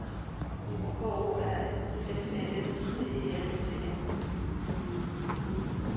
K O R S F Æ S T E L S E N